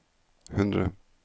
hundre